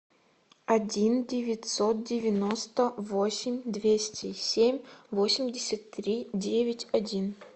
один девятьсот девяносто восемь двести семь восемьдесят три девять один